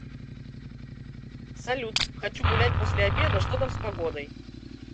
салют хочу гулять после обеда что там с погодой